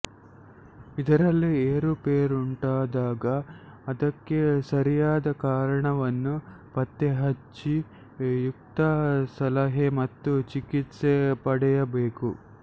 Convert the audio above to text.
ಇದರಲ್ಲಿ ಏರುಪೇರುಂಟಾದಾಗ ಅದಕ್ಕೆ ಸರಿಯಾದ ಕಾರಣವನ್ನು ಪತ್ತೆಹಚ್ಚಿ ಯುಕ್ತ ಸಲಹೆ ಮತ್ತು ಚಿಕಿತ್ಸೆ ಪಡೆಯಬೇಕು